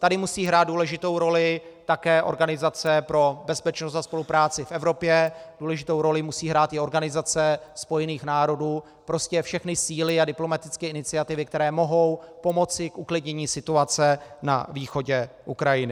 Tady musí hrát důležitou roli také Organizace pro bezpečnost a spolupráci v Evropě, důležitou roli musí hrát i Organizace spojených národů, prostě všechny síly a diplomatické iniciativy, které mohou pomoci k uklidnění situace na východě Ukrajiny.